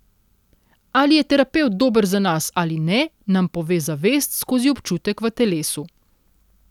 Ali je terapevt dober za nas ali ne, nam pove zavest skozi občutek v telesu.